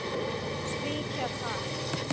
Svíkja það.